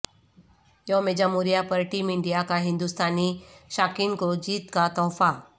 یوم جمہوریہ پر ٹیم انڈیا کا ہندوستانی شائقین کو جیت کا تحفہ